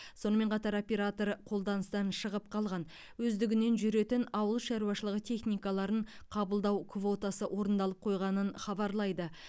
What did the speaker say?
сонымен қатар оператор қолданыстан шығып қалған өздігінен жүретін ауыл шаруашылығы техникаларын қабылдау квотасы орындалып қойғанын хабарлайды